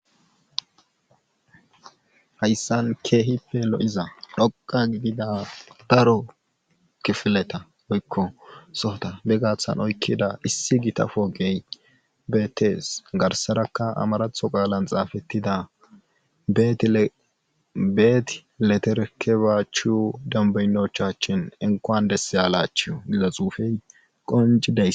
Hayssan keehippe lo'iza dhoqa gigida daro kifileta woykko sohota be gaathan oykkida issi gitafogey beetees garsarakka amaratho qaalan xaafettida beet leterekebaachu dambeynochachshin enqoan desseyalachuu gida xuufey qoncideys.